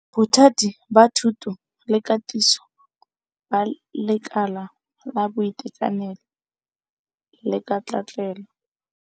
Bothati ba Thuto le Katiso ba Lekala la Boitekanelo le Katlaatlelo, HWSETA.